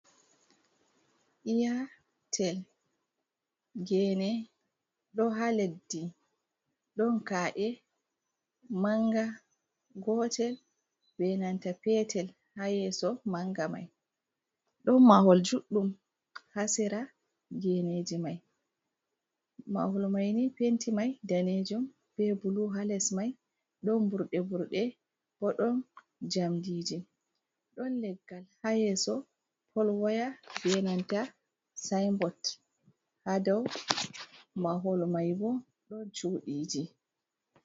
Iyaatel gene ɗo ha leddi, ɗon ka’e manga gotel be nanta petel ha yeso manga mai, ɗon mahol juɗɗum ha sera geneji mai, mahol maini penti mai danejon be bulu ha les mai ɗon burɗe burɗe bo ɗon jamdiji, ɗon leggal ha yeeso pol waya be nanta sayin bot, ha dau mahol mai bo ɗon chuuɗiji.